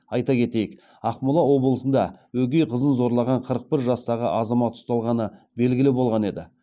айта кетейік ақмола облысында өгей қызын зорлаған қырық бір жастағы азамат ұсталғаны белгілі болған еді